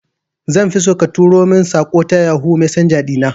Zanfi so ka tura mun saƙo ta yohoo messenger ɗina